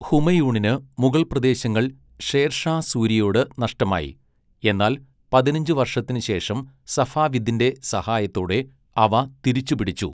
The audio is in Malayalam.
ഹുമയൂണിന് മുഗൾ പ്രദേശങ്ങൾ ഷേർഷാ സൂരിയോട് നഷ്ടമായി, എന്നാൽ പതിനഞ്ച് വർഷത്തിന് ശേഷം സഫാവിദിന്റെ സഹായത്തോടെ അവ തിരിച്ചുപിടിച്ചു.